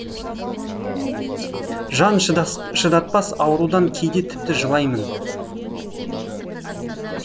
жан шыдатпас аурудан кейде тіпті жылаймын